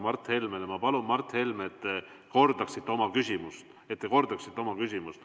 Ma palun, Mart Helme, et te kordaksite oma küsimust.